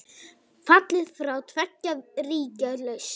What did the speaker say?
Fallið frá tveggja ríkja lausn?